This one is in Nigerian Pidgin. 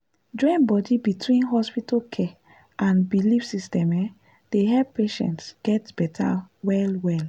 join body between hospital care and belief system um dey help patients get better well-well.